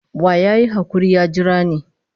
Wa ya yi hakuri ya jira ni?